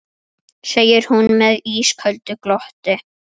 segir hún með ísköldu glotti.